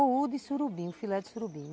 Ou o de surubim, o filé de surubim.